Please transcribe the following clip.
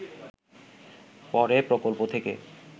পরে প্রকল্প থেকে